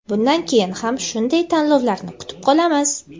Bundan keyin ham shunday tanlovlarni kutib qolamiz.